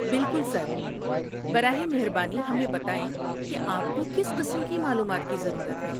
بالکل سر! براہ مہربانی ہمیں بتائیں کہ آپ کو کس قسم کی معلومات کی ضرورت ہے۔